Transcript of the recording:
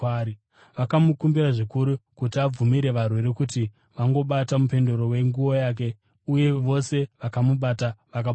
vakamukumbira zvikuru kuti abvumire varwere kuti vangobata mupendero wenguo yake uye vose vakamubata vakaporeswa.